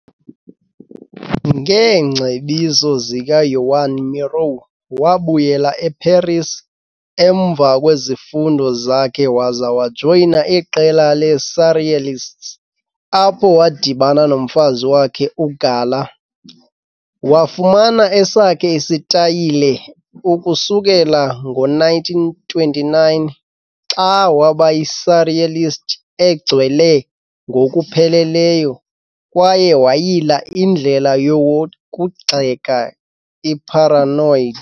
Ngeengcebiso zikaJoan Miró, wabuyela eParis emva kwezifundo zakhe waza wajoyina iqela le-surrealists, apho wadibana nomfazi wakhe uGala. Wafumana esakhe isitayile ukusukela ngo-1929, xa waba yi-surrealist egcwele ngokupheleleyo kwaye wayila indlela yokugxeka i-paranoid.